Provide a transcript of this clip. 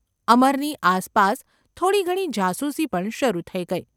અમરની આરપાસ થોડી ઘણી જાસૂસી પણ શરૂ થઈ ગઈ.